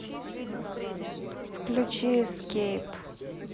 включи эскейп